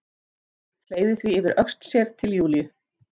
Fleygði því yfir öxl sér til Júlíu.